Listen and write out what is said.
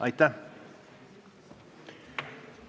Aitäh!